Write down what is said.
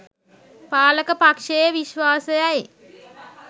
පාලක පක්ෂයේ විශ්වාසයයි.